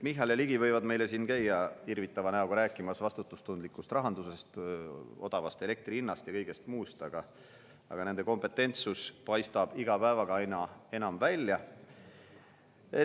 Michal ja Ligi võivad meile siin käia irvitava näoga rääkimas vastutustundlikust rahandusest, odavast elektri hinnast ja kõigest muust, aga nende kompetentsus paistab iga päevaga aina enam välja.